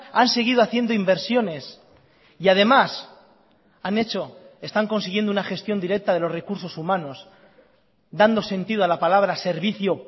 han seguido haciendo inversiones y además han hecho están consiguiendo una gestión directa de los recursos humanos dando sentido a la palabra servicio